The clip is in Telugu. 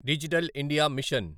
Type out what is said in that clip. digital India machine